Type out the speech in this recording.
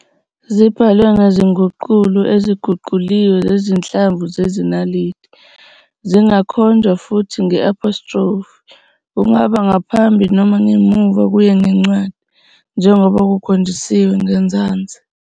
Zibhalwe ngezinguqulo eziguquliwe zezinhlamvu zesiLatini. Zingakhonjwa futhi nge-apostrophe, kungaba ngaphambi noma ngemuva kuye ngencwadi, njengoba kukhonjisiwe ngezansi.